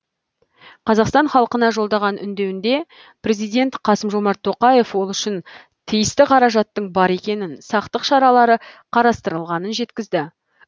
қазақстан халқына жолдаған үндеуінде президент қасым жомарт тоқаев ол үшін тиісті қаражаттың бар екенін сақтық шаралары қарастырылғанын жеткізді